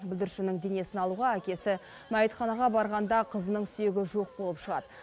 бүлдіршіннің денесін алуға әкесі мәйітханаға барғанда қызының сүйегі жоқ болып шығады